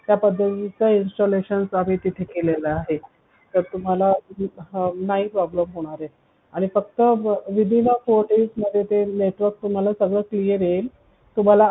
त्या पद्धतीच्या installation आम्ही तिथं केलेला आहे तर तुम्हाला नाही problem होणार आणि फक्त within a four days मध्ये ते network तुम्हाला सगळं clear येईल